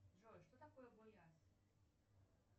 джой что такое вояз